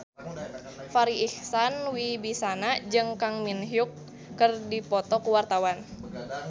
Farri Icksan Wibisana jeung Kang Min Hyuk keur dipoto ku wartawan